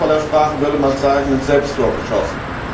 In der Fußballersprache würde man sagen ein Selbsttor geschossen.